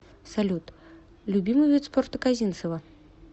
салют любимый вид спорта козинцева